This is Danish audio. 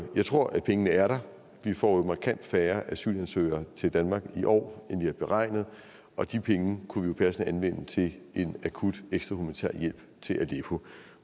jeg tror pengene er der vi får jo markant færre asylansøgere til danmark i år end vi har beregnet og de penge kunne vi passende anvende til en akut ekstra humanitær hjælp til aleppo